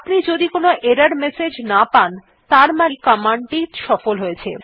আপনি যদি কোনো এরর মেসেজ না পান ত়ার মানেই কমান্ড টি সফল হয়েছে